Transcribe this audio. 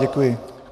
Děkuji.